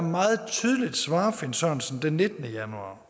svarer finn sørensen den nittende januar